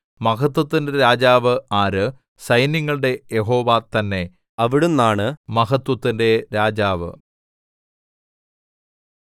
മഹത്വത്തിന്റെ രാജാവ് ആര് സൈന്യങ്ങളുടെ യഹോവ തന്നെ അവിടുന്നാണ് മഹത്വത്തിന്റെ രാജാവ് സേലാ